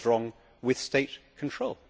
What is wrong with state control?